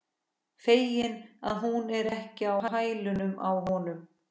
Feginn að hún er ekki á hælunum á honum.